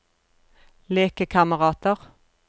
lekekamerater